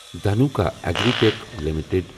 Dhanuka agri tech limited